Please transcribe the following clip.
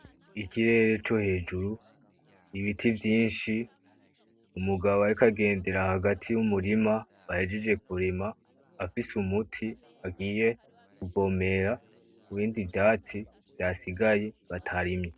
Ikirere co hejuru, ibiti vyinshi, umugabo ariko agendera hagati y'umurima bahejeje kurima afise umuti agiye kuvomera kubindi vyatsi vyasigaye batarimye.